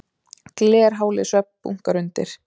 Glerhálir svellbunkar undir.